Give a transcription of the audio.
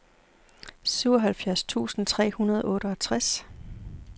syvoghalvfjerds tusind tre hundrede og otteogtres